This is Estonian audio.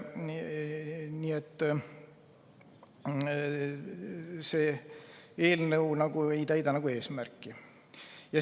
Nii et see eelnõu nagu ei täida eesmärki.